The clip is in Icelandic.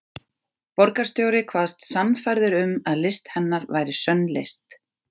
Borgarstjóri kvaðst sannfærður um að list hennar væri sönn list.